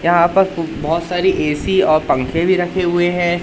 यहां पर बहोत सारी ए_सी और पंखे भी रखे हुए है।